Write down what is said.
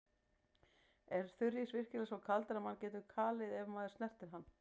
Er þurrís virkilega svo kaldur að mann getur kalið ef maður snertir hann?